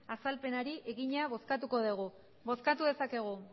azalpenari egina bozkatuko dugu bozkatu dezakegu